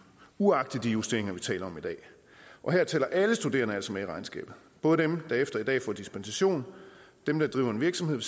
uagtet de justeringer vi taler om i dag og her tæller alle studerende altså med i regnskabet både dem der efter i dag får dispensation dem der driver en virksomhed